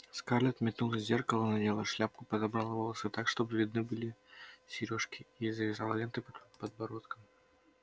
скарлетт метнулась к зеркалу надела шляпку подобрала волосы так чтобы видны были серёжки и завязала ленты под подбородком